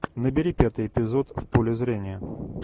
набери пятый эпизод в поле зрения